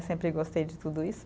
Sempre gostei de tudo isso.